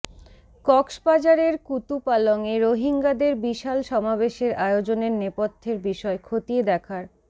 কক্সবাজারের কুতুপালংয়ে রোহিঙ্গাদের বিশাল সমাবেশের আয়োজনের নেপথ্যের বিষয় খতিয়ে দেখার